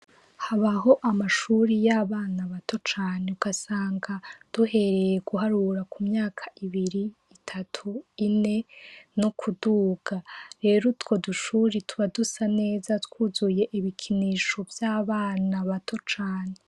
Habaho amashuri y'abana bato cane ugasanga duhereye guharura ku myaka ibiri, itatu, ine, no kuduga. Rero utwo dushuri tuba dusa neza twuzuye ibikinisho vy'abana bato cane.